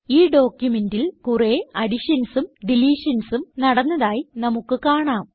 ഈ ഡോക്യുമെന്റിൽ കുറേ additionsനും deletionsനും നടന്നതായി നമുക്ക് കാണാം